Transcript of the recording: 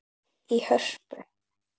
í Hörpu.